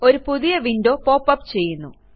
ഒരു പുതിയ window pop up ചെയ്യുന്നു